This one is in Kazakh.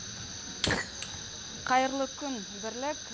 қайырлы күн бірлік